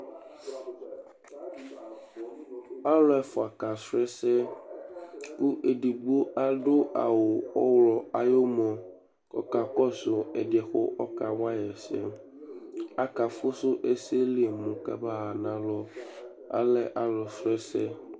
alo ɛfua ka srɔ ɛsɛ kò edigbo ado awu ɔwlɔ ayi umɔ k'ɔka kɔsu ɛdiɛ kò ɔka wayi ɛsɛ aka fusu ɛsɛ li mo k'ama ɣa n'alɔ alɛ alo srɔ ɛsɛ